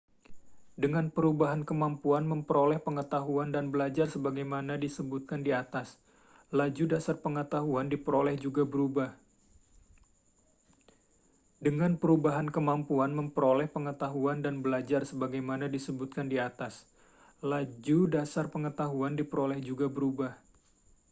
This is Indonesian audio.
dengan perubahan kemampuan memperoleh pengetahuan dan belajar sebagaimana disebutkan di atas laju dasar pengetahuan diperoleh juga berubah